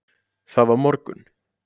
Það var morgunn.